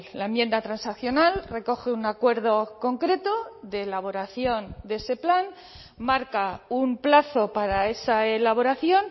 la enmienda transaccional recoge un acuerdo concreto de elaboración de ese plan marca un plazo para esa elaboración